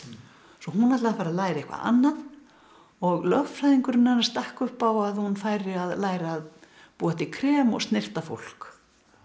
svo hún ætli að fara að læra eitthvað annað og lögfræðingurinn hennar stakk upp á að hún færi að læra að búa til krem og snyrta fólk